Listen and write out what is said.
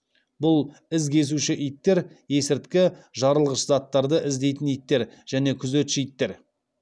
бұл із кесуші иттер есірткі жарылғыш заттарды іздейтін иттер және күзетші иттер